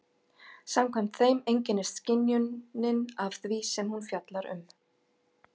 Samkvæmt þeim einkennist skynjunin af því sem hún fjallar um.